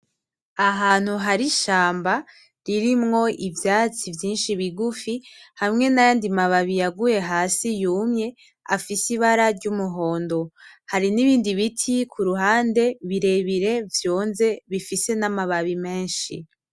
Ahantu hari ishamba ririmwo ivyatsi vyinshi bigufi, hamwe n'ayandi mababi yaguye hasi yumye, afise ibara ry'umuhondo. Hari n'ibindi biti kuruhande birebire vyonze, bifise n'amababi menshi.